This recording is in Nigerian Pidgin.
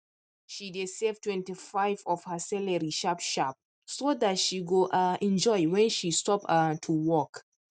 she dey save 25 of her salary sharp sharp so dat she go um enjoy when she stop um to work